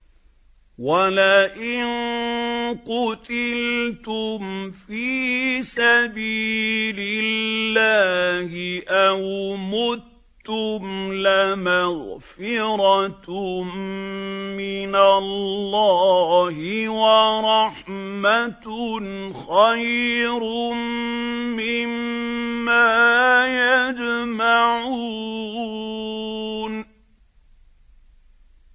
وَلَئِن قُتِلْتُمْ فِي سَبِيلِ اللَّهِ أَوْ مُتُّمْ لَمَغْفِرَةٌ مِّنَ اللَّهِ وَرَحْمَةٌ خَيْرٌ مِّمَّا يَجْمَعُونَ